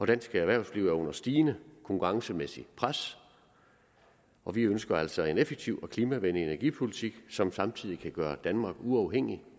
dansk erhvervsliv er under stigende konkurrencemæssigt pres og vi ønsker altså en effektiv og klimavenlig energipolitik som samtidig kan gøre danmark uafhængig